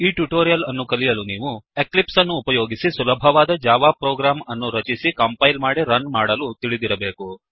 ಈ ಟ್ಯುಟೋರಿಯಲ್ ಅನ್ನುಕಲಿಯಲು ನೀವು ಎಕ್ಲಿಪ್ಸ್ ಅನ್ನು ಉಪಯೋಗಿಸಿ ಸುಲಭವಾದ ಜಾವಾ ಪ್ರೋಗ್ರಾಮ್ ಅನ್ನು ರಚಿಸಲು ಕಂಪೈಲ್ ಮಾಡಿ ರನ್ ಮಾಡಲು ತಿಳಿದಿರಬೇಕು